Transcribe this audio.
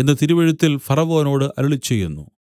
എന്നു തിരുവെഴുത്തിൽ ഫറവോനോട് അരുളിച്ചെയ്യുന്നു